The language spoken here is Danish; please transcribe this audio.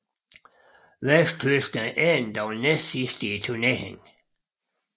Vesttyskland endte dog næstsidst i turneringen